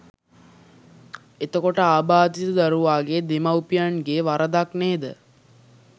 එතකොට ආබාධිත දරුවාගේ දෙමව්පියන්ගෙ වරදක් නේද